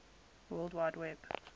world wide web